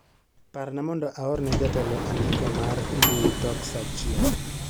Parna mondo aorne jatelo andiko mar mbui tok saa achiel.